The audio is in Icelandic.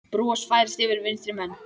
Bros færist yfir vinstri menn.